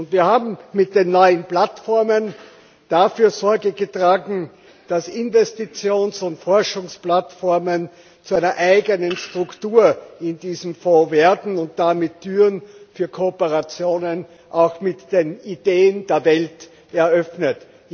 Wir haben mit den neuen Plattformen dafür Sorge getragen, dass Investitions und Forschungsplattformen zu einer eigenen Struktur in diesem Fonds werden und damit Türen für Kooperationen auch mit den Ideen der Welt geöffnet.